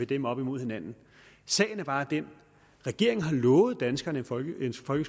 dem op imod hinanden sagen er bare den at regeringen har lovet danskerne en folkeskole